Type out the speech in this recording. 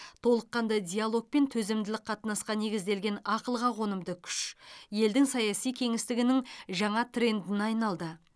толыққанды диалог пен төзімділік қатынасқа негізделген ақылға қонымды күш елдің саяси кеңістігінің жаңа трендіне айналды